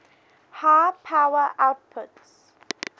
high power outputs